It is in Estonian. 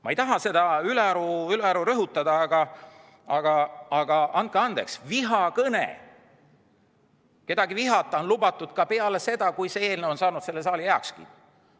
Ma ei taha seda ülearu rõhutada, aga andke andeks, kedagi vihata on lubatud ka peale seda, kui see eelnõu on saanud selle saali heakskiidu.